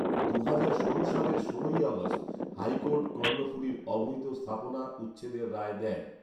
দুহাজার ষোলো সালের ষোলোই আগস্ট হাইকোর্ট কর্ণফুলীর অবৈধ স্থাপনা উচ্ছেদের রায় দেন